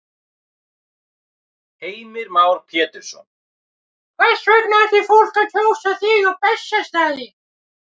Heimir Már Pétursson: Hvers vegna ætti fólk að kjósa þig á Bessastaði?